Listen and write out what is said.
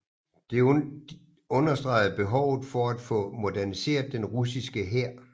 Det understregede behovet for at få moderniseret den russiske hær